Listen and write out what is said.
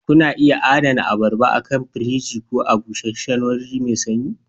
Kuna iya adana abarba akan firji ko a busheshshen wuri mai sanyi